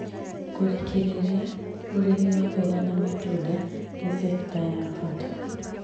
Kũrĩkĩrĩria, ũrĩmi wa mboga na matunda nĩ cekita ya bata